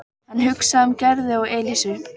Hann hugsaði um Gerði og Elísu.